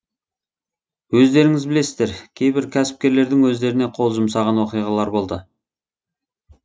өздеріңіз білесіздер кейбір кәсіпкерлердің өздеріне қол жұмсаған оқиғалар болды